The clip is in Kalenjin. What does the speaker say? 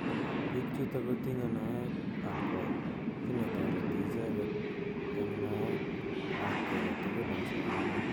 Bik chutok kotinye naet ak kwai ki netoreti icheket eng naet ab ki agetugul eng somanet.